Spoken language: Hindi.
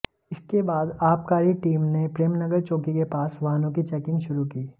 इसके बाद आबकारी टीम ने प्रेमनगर चौकी के पास वाहनों की चैकिंग शुरू की